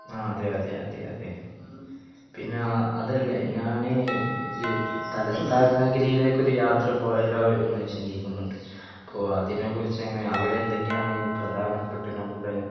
ആഹ് അതെയതെ അതെ അതെ. പിന്നെ അതല്ല ഞാന് തലസ്ഥാന നാഗരിയിലേക് ഒരു യാത്ര പോയാലോ എന്ന് ചിന്തിക്കുന്നുണ്ട് അപ്പൊ അതിനെ കുറിച്ച് എങ്ങിനെ അവിടെ എന്തൊക്കെയാണ് പ്രധാനപ്പെട്ട് നമ്മുടെ